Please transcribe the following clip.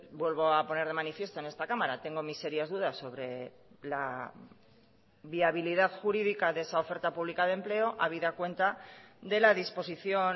vuelvo a poner de manifiesto en esta cámara tengo mis serias dudas sobre la viabilidad jurídica de esa oferta pública de empleo habida cuenta de la disposición